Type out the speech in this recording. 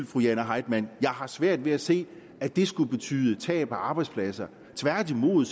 fru jane heitmann jeg har svært ved at se at det skulle betyde tab af arbejdspladser tværtimod